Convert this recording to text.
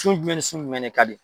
Su jumɛn ni sun jumɛn ne ka di.